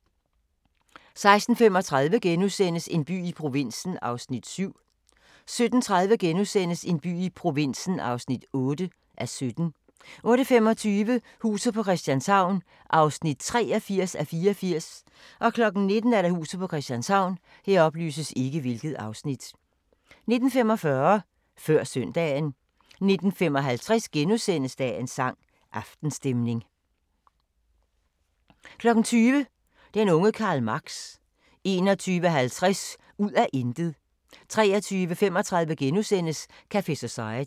15:50: aHA! * 16:35: En by i provinsen (7:17)* 17:30: En by i provinsen (8:17)* 18:25: Huset på Christianshavn (83:84) 19:00: Huset på Christianshavn 19:45: Før Søndagen 19:55: Dagens sang: Aftenstemning * 20:00: Den unge Karl Marx 21:50: Ud af intet 23:35: Café Society *